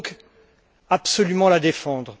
Il faut donc absolument la défendre.